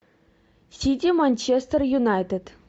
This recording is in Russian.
сити манчестер юнайтед